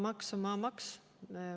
Maamaks on maamaks.